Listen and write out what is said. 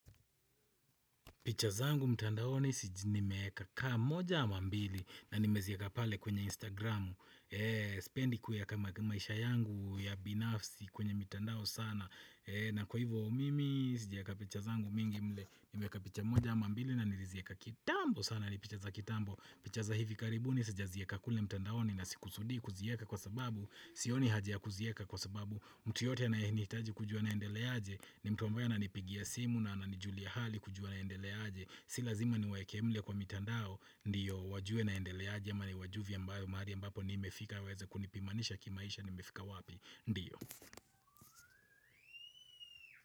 Pichazangu mtandaoni sijini meheka ka moja mambili na nimezieka pale kwenya Instagramu Sipendiku ya kamaishayangu ya binafsi kwenya mitandao sana na kwa ivo mimi sijaeka pichazangu mingi mle Nimeyeka picha moja amambili na nilizieka kitambo sana ni pichaza kitambo Pichaza hivi karibu ni sijaziweka kule mtandaoni na sikusudi kuzieka kwa sababu Siyoni haji ya kuzieka kwa sababu Mtuyote na hiniitaji kujwa na endeleaje Nimtomboja na nipigia simu na anijulia hali kujwa na endeleaje Si lazima ni waeke mle kwa mitandao Ndiyo, wajuwe na endeleaje Yama ni wajuvi ambayo maari ambapo ni mmefika Waweza kunipimanisha kimaisha nimefika wapi Ndiyo.